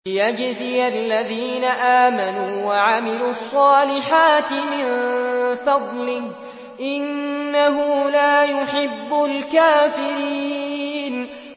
لِيَجْزِيَ الَّذِينَ آمَنُوا وَعَمِلُوا الصَّالِحَاتِ مِن فَضْلِهِ ۚ إِنَّهُ لَا يُحِبُّ الْكَافِرِينَ